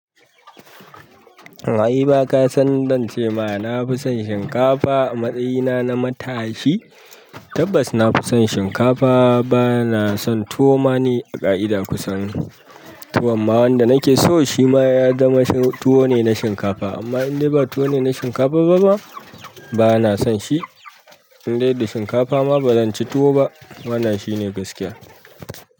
Kaima kasan dan cema nafi son shinkafa a matsayina na matashi tabbas na fi son shinkafa. Ba na son tuwo ma ni a ƙa'ida kusan. Tuwon ma wanda nake so shi ma ya zama tuwo ne na shinkafa. Amma in dai ba tuwo ne na shinkafa ba ba, to ba na son shi. In dai da shinkafa ma ba zan ci tuwo ba. Wannan shine gaskiya.